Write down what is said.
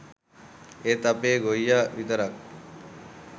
ඒත් අපේ ගොයියා විතරක්